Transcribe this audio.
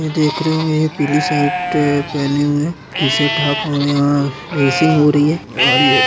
ये देख रहे हो ये पिली शर्ट अ पहने हुए है टी-शर्ट हाफ और यहाँ रेसिंग हो रही है और ये --